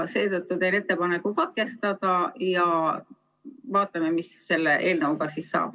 Seetõttu teen ettepaneku katkestada ja vaatame, mis selle eelnõuga siis saab.